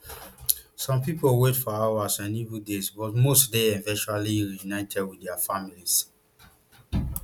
some people wait for hours and even days but most dey eventually reunited wit dia families